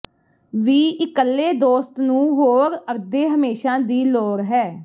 ਵੀ ਇਕੱਲੇ ਦੋਸਤ ਨੂੰ ਹੋਰ ਅੱਧੇ ਹਮੇਸ਼ਾ ਦੀ ਲੋੜ ਨਹੀ ਹੈ